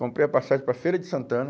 Comprei uma passagem para Feira de Santana.